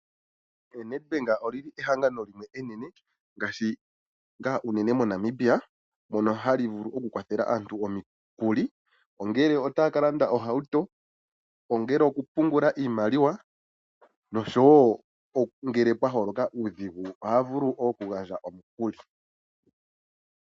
Nedbank olyi li ehangano enene ngaashi ngaa unene mo Namibia mono hali vulu oku kwathela aantu omikuli ongele otaya ka landa oohauto, ongele oku pungula iimaliwa noshowo ngele pwa holoka uudhigu oha vulu oku gandja omukuli.